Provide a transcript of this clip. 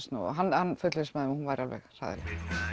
snúið hann fullvissaði að hún væri alveg hræðileg